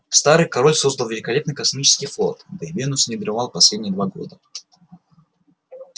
старый король создал великолепный космический флот да и венус не дремал последние два года